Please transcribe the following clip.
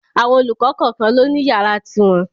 Àwọn olùkọ́ kọ̀kan ló ni yàrá ti wọn.